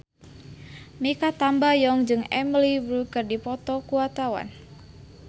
Mikha Tambayong jeung Emily Blunt keur dipoto ku wartawan